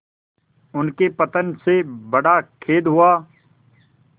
उनके पतन से बड़ा खेद हुआ